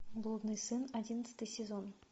блудный сын одиннадцатый сезон